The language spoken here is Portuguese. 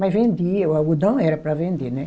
Mas vendia, o algodão era para vender, né